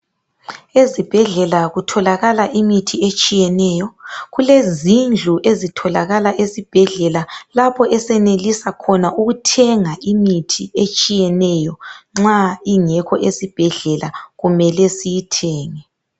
Ezibhedlela kutholakala imithi etshiyeneyo. Kulezindlu ezitholakala esibhedlela lapho esenelisa khona ukuthenga imithi etshiyeneyo nxa ingekho esibhedlela kumele siyithenge.